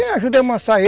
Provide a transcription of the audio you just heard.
amansar